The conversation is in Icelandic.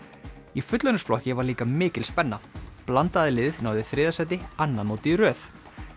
í fullorðinsflokki var líka mikil spenna blandaða liðið náði þriðja sæti annað mótið í röð